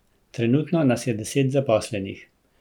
Trenutno nas je deset zaposlenih.